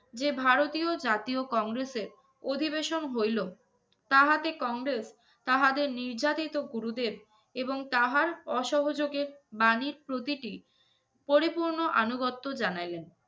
যে ভারতীয় জাতীয় কংগ্রেসে অধিবেশন হইলো তাহাতে কংগ্রেস তাহাদের নির্যাতিত গুরুদের এবং তাহার অসহযোগে বাণীর প্রতিটি পরিপূর্ণ আনুগত্য জানাইলেন।